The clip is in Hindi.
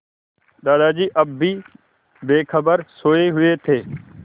दादाजी अब भी बेखबर सोये हुए थे